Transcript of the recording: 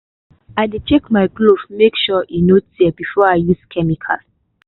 i dey check my glove make sure e no tear before i use chemical.